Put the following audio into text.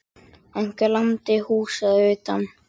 Einhver lamdi húsið að utan.